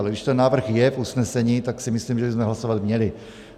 Ale když ten návrh je v usnesení, tak si myslím, že bychom hlasovat měli.